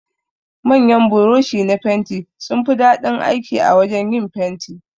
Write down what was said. Manyan buroshi na fenti sunfi daɗin aiki a wajan yin fenti.